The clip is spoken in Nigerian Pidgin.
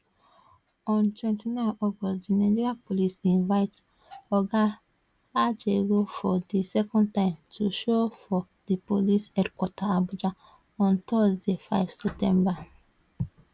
on 29 august di nigeria police invite oga ajaero for di second time to show for di police headquarter abuja on thursday 5 september